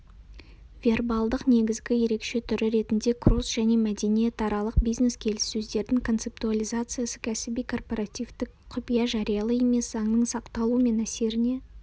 вербалдық негізгі ерекше түрі ретінде кросс-және мәдениетаралық бизнес-келіссөздердің концептуализациясы кәсіби корпоративтік құпия жариялы емес заңның сақталуы мен әсеріне